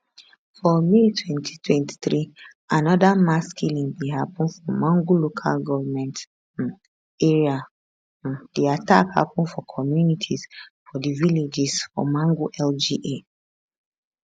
for may 2023 anoda mass killing bin happun for mangu local goment um area um di attack happun for communities for di villages for mangu lga